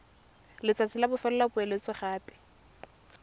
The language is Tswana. letsatsi la bofelo la poeletsogape